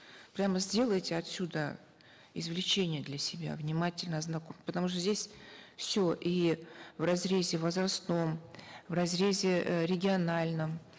прямо сделайте отсюда извлечения для себя внимательно потому что здесь все и в разрезе возрастном в разрезе э региональном